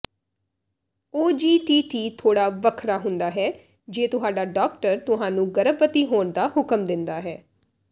OGTT ਥੋੜਾ ਵੱਖਰਾ ਹੁੰਦਾ ਹੈ ਜੇ ਤੁਹਾਡਾ ਡਾਕਟਰ ਤੁਹਾਨੂੰ ਗਰਭਵਤੀ ਹੋਣ ਦਾ ਹੁਕਮ ਦਿੰਦਾ ਹੈ